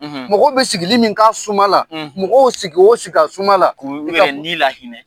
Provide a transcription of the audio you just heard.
. Mɔgɔ bɛ sigili min ka suma la, mɔgɔw sig'o sigi a suma la. O b'o yɛrɛ nii lahinɛ.